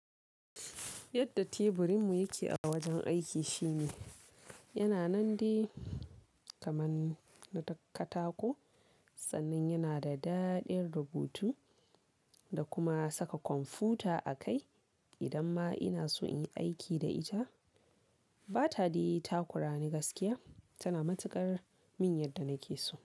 Yadda teburin mu yake a wajen aiki shine, yana nan dai kaman na katako sannan yana da daɗe rubutu da kuma saka kwamfuta a kai idan ma ina so in aiki da ita. Ba ta dai takura ni gaskiya, tana matuƙar min yadda nake so.